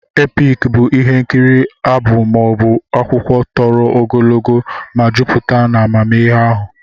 Epiki bụ ihe nkiri abụ, maọbu akwụkwụ tọrọ ogologo ma jụpute n'mmeghari ahụ.